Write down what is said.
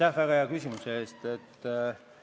Aitäh väga hea küsimuse eest!